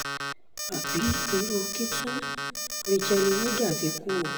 àbí irú kí tún rachael oníga ti kú o